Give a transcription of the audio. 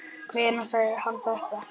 Hvenær sagði hann þetta?